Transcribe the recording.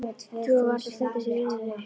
Trúir varla að stundin sé runnin upp.